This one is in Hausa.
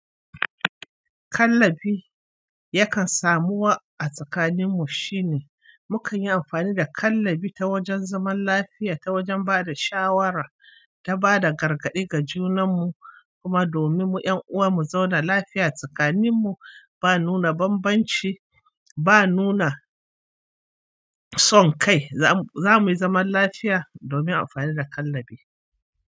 Kallabi yakan samu wa a tsakaninmu shine mukanyi amfani da kallabi ta wajen zaman lafiya, ta wajen bada shawara, ta bada gargaɗi ga junan mu. Kuma domin mu ƴan uwa mu zauna lafiya tsakaninmu ba nuna banbanci ba nuna son kai zamuyi zaman lafiya domin amfani da kallabi.